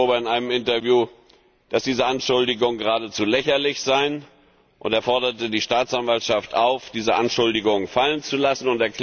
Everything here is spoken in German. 11. Oktober in einem Interview erklärt, dass diese Anschuldigungen geradezu lächerlich seien, und er forderte die Staatsanwaltschaft auf, diese Anschuldigungen fallen zu lassen.